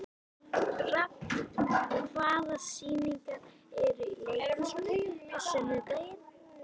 Rafn, hvaða sýningar eru í leikhúsinu á sunnudaginn?